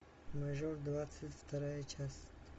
мажор двадцать вторая часть